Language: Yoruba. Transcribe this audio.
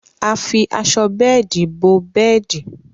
À fí àṣọ bẹẹ̀dí bọ̀ bẹẹ̀dí.